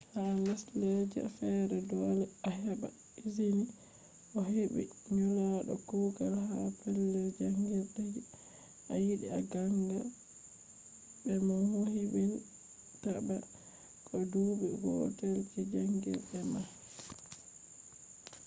ha lesdeja fere dole a heba ezini ohebi nulado kugal ha pellel jangirde je a yidi a ganga be mo yobin ta ma ko je dubi gotel je janjirde ma